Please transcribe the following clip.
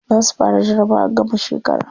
Za su fara jarabawar gamar shekara.